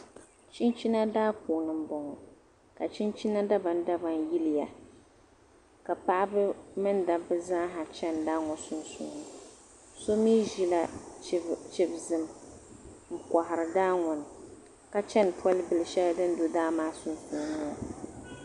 Chinchina daa puuni n bɔŋɔ ka chinchina dabam dabam yiliya ka paɣibi mini dabbi zaa ha chani daa maa sunsuuni so mi ʒila chib vum nkohiri daaŋɔni ka chani pɔlibili shɛli din do daa maa sunsuuni ŋɔ